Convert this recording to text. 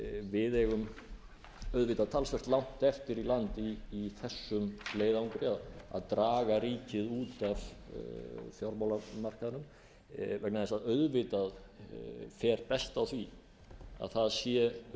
við eigum auðvitað talsvert langt eftir í land í þessum leiðangri að draga ríkið út af fjármálamarkaðnum vegna þess að auðvitað fer best á því að það séu